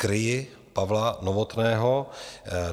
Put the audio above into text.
Nekryji Pavla Novotného.